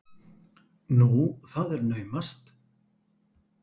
Nú, það er naumast!